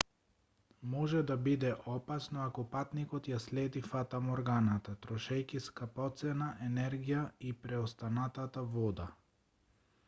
може да биде опасно ако патникот ја следи фатаморганата трошејќи скапоцена енергија и преостанатата вода